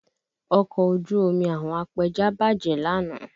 Ọkọ̀ ojú omi àwọn apẹja bàjẹ́ lánàá